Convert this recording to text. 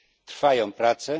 Trwają prace.